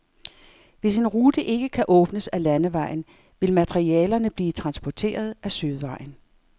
Hvis en rute ikke kan åbnes ad landvejen, vil materialerne blive transporteret ad søvejen.